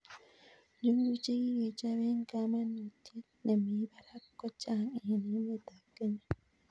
njuguk che kikechop eng' kamnutiet ne mii barak ko chang' eng' emet ab Kenya